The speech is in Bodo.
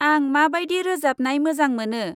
आं माबायदि रोजाबनाय मोजां मोनो।